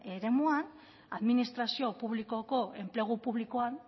eremuan administrazio publikoko enplegu publikoan